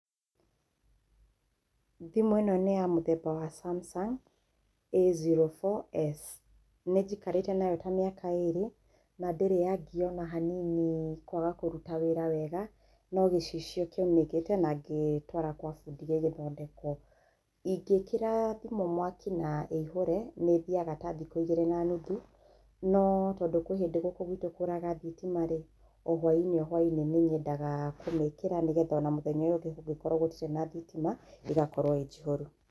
Thimũ ĩno nĩ ya mũthemba wa samsung A04S, nĩnjikarĩte nayo ta mĩaka ĩrĩ na ndĩrĩ yangia ona hanini kwaga kũruta wĩra wega, no gĩcicio kĩaunĩkĩte na ngĩtwara kwa bundi gĩgĩthondekwo. Ingĩkĩra thimũ mwaki na ĩihũre nĩĩthiaga ta thikíũ igĩrĩ na nuthu no tondũ kwĩ hĩndĩ gũkũ gwitũ kũraga thitima-rĩ o hwa-inĩ hwa-inĩ nĩnyendaga kũmĩkĩra nĩgetha mũthenya ũyũ ũngĩ kũngĩkorwo gũtirĩ na thitima ĩgakorwo ĩ njihũru.